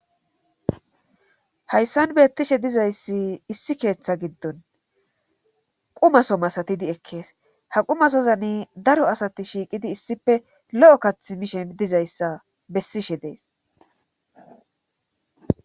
hayssan beettishe dizayssi issi keeththa giddon qumaso masatidi ekkees ha qumasozani daro asati shiiqidi issipe lo7o kath mishen dizayssa bessishe dees